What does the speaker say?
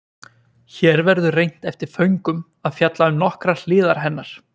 Hér verður reynt eftir föngum að fjalla um nokkrar hliðar hennar.